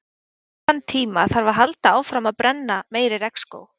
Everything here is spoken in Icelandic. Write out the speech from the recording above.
Eftir þann tíma þarf að halda áfram að brenna meiri regnskóg.